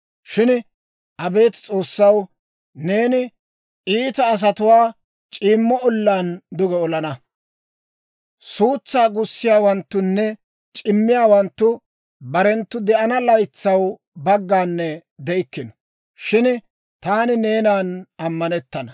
Shin Abeet S'oossaw, neeni iita asatuwaa c'iimmo ollaan duge olana. Suutsaa gussiyaawanttunne c'immiyaawanttu, barenttu de'ana laytsaw baggaanne de'ikkino; Shin taani neenan ammanettana.